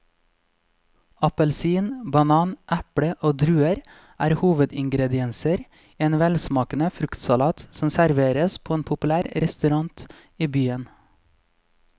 Appelsin, banan, eple og druer er hovedingredienser i en velsmakende fruktsalat som serveres på en populær restaurant i byen.